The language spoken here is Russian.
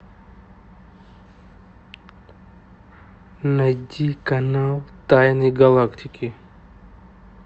найти канал тайны галактики